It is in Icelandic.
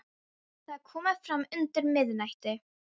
Það er komið fram undir miðnætti.